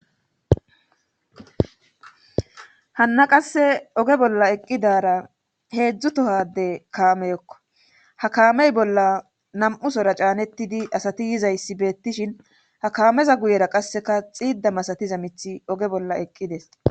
Hanna qasse oge bolla eqqidara heedzdzu tohade kaameyokko ha kaamey bolla nam'usora caanettidi asati yizayssi beettishin ha kaameza guyera qasseka xiida masatiza mithi oge bolla eqqides.